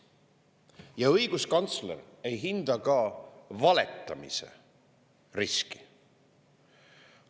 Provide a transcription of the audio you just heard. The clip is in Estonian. Ja õiguskantsler ei hinda ka valetamise riski.